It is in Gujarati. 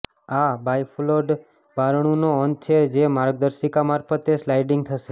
આ બાયફોલોલ્ડ બારણુંનો અંત છે જે માર્ગદર્શિકા મારફતે સ્લાઇડિંગ થશે